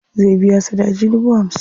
Zai biya sadaji dubu hamsin.